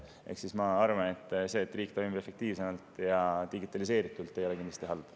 Ehk siis ma arvan, et see, et riik toimib efektiivsemalt ja digitaliseeritult, ei ole kindlasti halb.